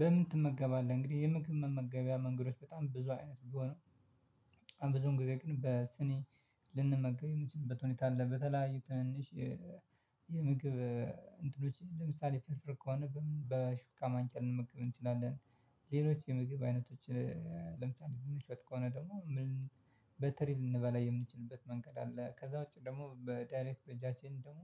በምን ትመገባለህ? እንግዲህ የምግብ መመገቢያ መንገዶች በጣም ብዙ አይነት ቢሆንም ብዙም ጊዜ ግን በስኒ ልንመገብ የምንችልበት ሁኔታ አለ። በተለያዩ ትንንሽ የምግብ እንትኖች ለምሳሌ ፈርፍር ከሆነ በምን በሹካ ማንክያ ልንመገብ እንችላለን። ሌሎች የምግብ አይነቶች ለምቻል የሚሸጥ ከሆነ ደግሞ ምን በትሪ ልንበላ የምንችልበት መንገድ አለ። ከዛ ውጪ ደግሞ በዳይሬክት በጃችን ደግሞ